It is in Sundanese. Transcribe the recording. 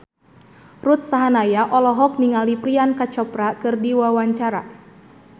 Ruth Sahanaya olohok ningali Priyanka Chopra keur diwawancara